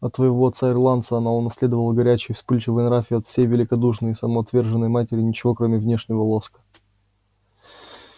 от своего отца-ирландца она унаследовала горячий вспыльчивый нрав и от своей великодушной и самоотверженной матери ничего кроме внешнего лоска